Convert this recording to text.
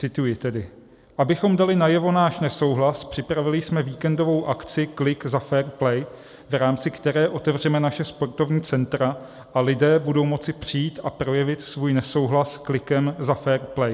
Cituji tedy: "Abychom dali najevo náš nesouhlas, připravili jsme víkendovou akci Klik za fair play, v rámci které otevřeme naše sportovní centra a lidé budou moci přijít a projevit svůj nesouhlas klikem za fair play.